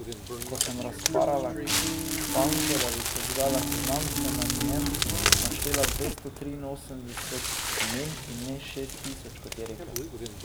Ko sem razparala krpanko, da bi sežgala seznam, sem na njem naštela dvesto triinosemdeset imen in ne šest tisoč, kot je rekel.